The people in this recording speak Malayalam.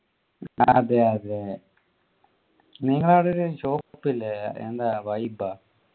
അതെ അതെ ഒരു shop ഇല്ലേ എന്താ vibe ആ